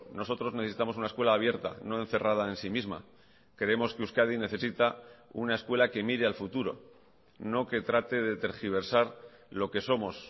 nosotros necesitamos una escuela abierta no encerrada en sí misma creemos que euskadi necesita una escuela que mire al futuro no que trate de tergiversar lo que somos